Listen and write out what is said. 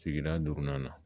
Sigida duurunan na